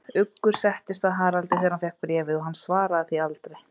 Uggur settist að Haraldi, þegar hann fékk bréfið, og hann svaraði því aldrei.